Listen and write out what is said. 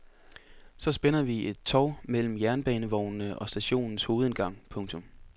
Så spænder vi et tov mellem jernbanevognene og stationens hovedindgang. punktum